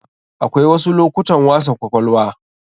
Akwai wasu lokutan wasa kwakwalwa.